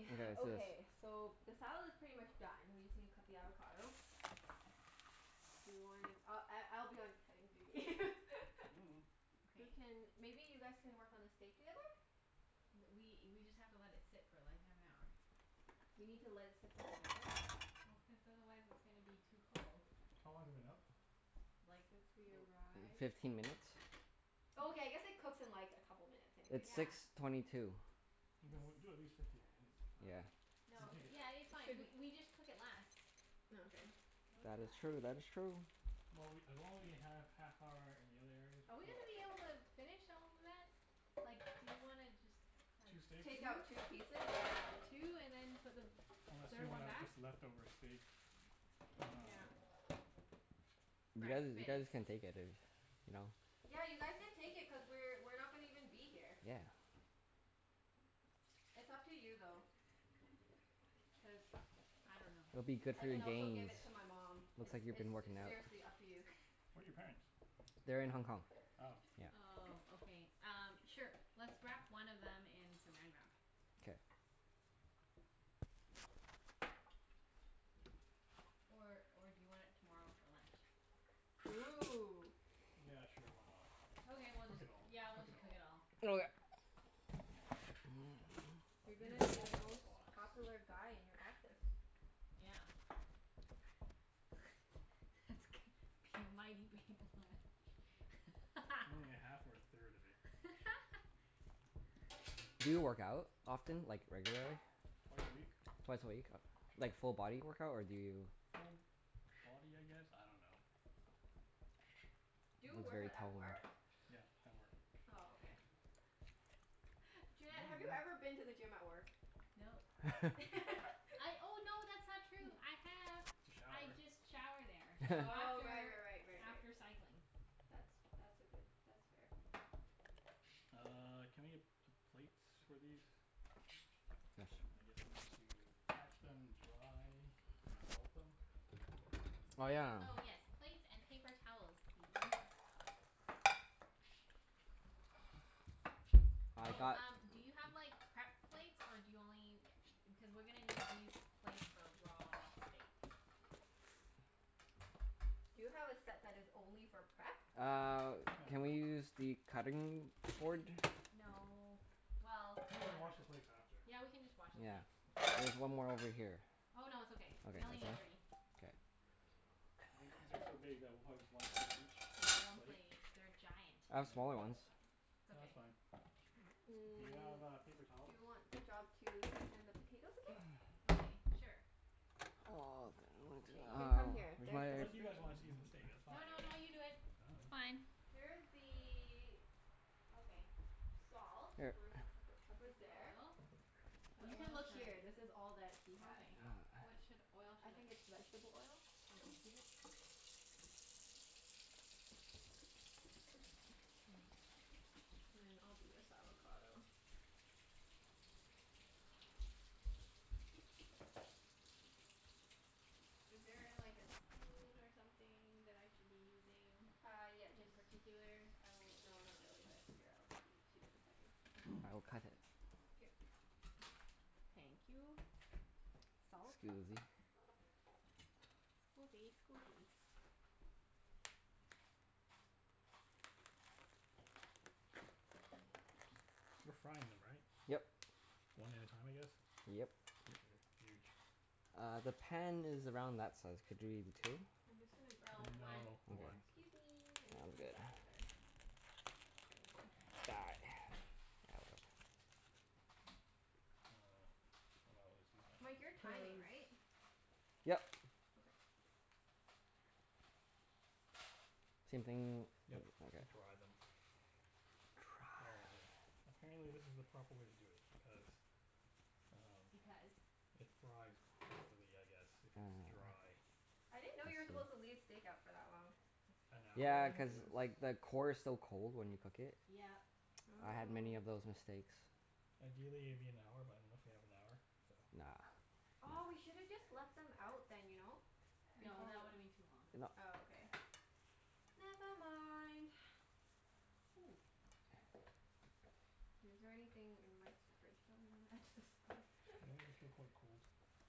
Okay. Is this Okay, so the salad's pretty much done, we just need to cut the avocado. Do you wanna, I I I'll be on cutting duty. Mm. Who Okay. can, maybe you guys can work on the steak together? Th- we we just have to let it sit for like, half an hour. We need to let it sit for half an hour. Well, cuz otherwise it's gonna be too cold. How long has it been out? Like Since we arrived. Fifteen minutes. Oh, okay, Oh. I guess it cooks in like a couple minutes anyways, It's so six Yeah. it's twenty two. Okay, well It's do at least fifteen minutes. I Yeah. dunno. Then No, take it yeah, it's out. It fine. We shouldn't we just cook it less. Oh okay. Cook That is less. true. That is true. Well, we, as long as we have half hour in the other areas Are we're we fine, gonna be right? able to finish all of that? Like, do you wanna just have Two steaks? Take out two? two pieces? Yeah. Two, and then put the Unless we third one wanna back? just leftover steak. I dunno. Yeah. You guys, you guys Breakfast. can take it if, you know? Yeah, you guys can take it cuz we're we're not gonna even be here. Yeah. It's up to you though. Cuz I don't know. It'll be good I for your can also give gains. it to my mom. Looks It's like you've been it's s- working out. seriously up to you. Where are your parents? They're in Hong Kong. Oh. Yeah. Oh, okay. Um, sure. Let's wrap one of them in Saran Wrap. K. Or or do you want it tomorrow for lunch? Ooh. Yeah, sure. Why not? Just Okay, we'll cook just, it all. yeah, we'll Cook it just cook all. it all. Okay. Oh You're you gonna ha- be the also have a most box. popular guy in your office. Yeah. That's gonna be a mighty big lunch. Only a half or a third of it. Do you work out often? Like, regularly? Twice a week. Twice a week? U- like full body workout, or do you Full body, I guess? I don't know. Do He's you work out very at toned. work? Yeah, at work. Oh, okay. Junette, have you ever Mm. been to the gym at work? Nope. I, oh no, that's not true. I have. To shower. I just shower there Oh, right after right right right right. after cycling. That's that's a good, that's fair. Uh, can I get p- plates for these? Yeah, su- I guess we need to pat them dry. And salt them? Oh yeah. Oh yes, plates and paper towels please. Which I've Oh, one? got um do you have like, prep plates? Or do you only u- cuz we're gonna need these plates for raw steak. Do you have a set that is only for prep? Uh, No. can we use the cutting board? No. Well, We can I don't wash know. the plates after. Yeah, we can just wash the Yeah. plates. It's There's one more over here. Oh no, it's okay. Okay, We only that's need all? three. K. I think these are so big that we'll probably just one steak There's each one plate? plate each. They're giant. I Yeah. have smaller ones. It's No, that's okay. fine. Do you Mm, have uh, paper do towels? you want the job to season the potatoes again? Okay, sure. K, you Well can come here. There, this is Where's my Unless you the guys wanna season the steak. That's fine. No no no, you do it. I It's dunno. fine. Here's I dunno. the Okay. salt. Here. Where's the pepper? Pepper's First the there. oil. But You can oil look here. This is all that he has. Okay. What should, oil I should think I it's vegetable oil. Okay. Peanut. And then I'll do this avocado. Is there a like a spoon or something that I should be using? Uh, yeah. In Jus- particular? I will, no, not really but here, I'll give it to you in a second. Okay. I will cut it. Here. Thank you. Salt? Scusi. Scusi, scusi. We're frying them, right? Yep. One at a time, I guess? Yep. They're huge. Uh, the pan is around that size. Could you two? I'm just gonna grab No, another one. No, Okay. one. Excuse me. I'm just Sounds gonna good. grab another spoon. Die. Uh, I might as well just use my Mike, you're hands timing, because right? Yep. Okay. Same thing? Yep, E- okay. to dry them. Apparently Dry. apparently this is the proper way to do it because um Because it fries properly, I guess, if it's Oh. dry. I I didn't know you were supposed see. to leave steak out for that long. An hour Yeah, cuz like the core is so cold when you cook it. Yep. I had many Oh. of those mistakes. Ideally it'd be an hour, but I don't know if we have an hour, so Nah. Aw, we No. should have just left them out then, you know? No, Before that w- would've been too long. No. Oh, okay. Never mind. Ooh. Is there anything in Mike's fridge that we wanna add to the salad? Yeah, these are still quite cold.